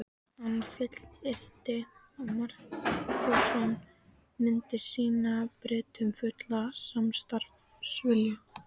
Hann fullyrti að Markússon myndi sýna Bretum fullan samstarfsvilja.